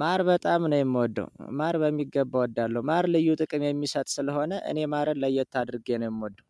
ማር በጣም ነው የምወደው ማር በሚገባ እወዳለሁ ማር ልዩ ጥቅም የሚሰጥ ስለሆነ እኔ ማርን ለየት አድርጌ ነው የምወደው።